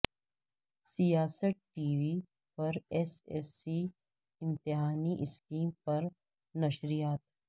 سیاست T V پر S S C امتحانی اسکیم پر نشریات